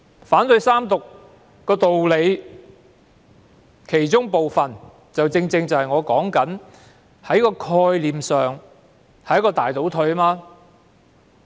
反對三讀的部分原因，正正是《條例草案》在概念上是一個大倒退。